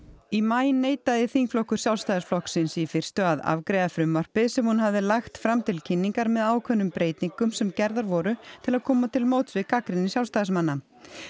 í maí neitaði þingflokkur Sjálfstæðisflokksins í fyrstu að afgreiða frumvarpið sem hún hafði lagt fram til kynningar með ákveðnum breytingum sem gerðar voru til að koma til móts við gagnrýni Sjálfstæðismanna